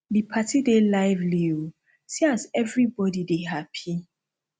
di party dey lively o see as everybodi dey happy